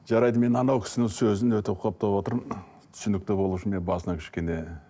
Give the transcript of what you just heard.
жарайды мен анау кісінің сөзін өте құптап отырмын түсінікті болу үшін мен басына кішкене